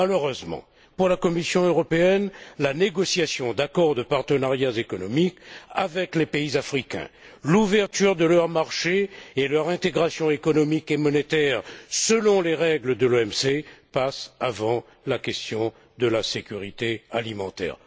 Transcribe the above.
Malheureusement, pour la Commission européenne, la négociation d'accords de partenariat économique avec les pays africains, l'ouverture de leur marché et leur intégration économique et monétaire selon les règles de l'OMC passent avant la question de la sécurité alimentaire.